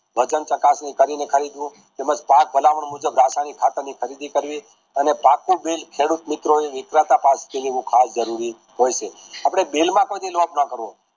ચકાસણી કરીને ખરીદ વું તેમજ પાક ભલામણ મુજબ ખાતર ની ખરીદી કરવી આને પાકું bill ખેડૂત મિત્રો એ હોય છે આપણે બિલ્લમ કોઈ દી ના કરવો